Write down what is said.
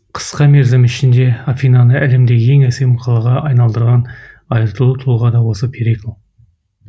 қысқа мерзім ішінде афинаны әлемде ең әсем қалаға айналдырған айтулы тұлға да осы перикл